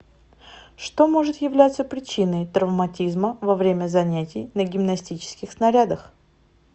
что может являться причиной травматизма во время занятий на гимнастических снарядах